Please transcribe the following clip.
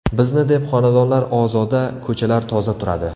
Bizni deb xonadonlar ozoda, ko‘chalar toza turadi.